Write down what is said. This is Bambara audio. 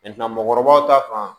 mɔgɔkɔrɔbaw ta kan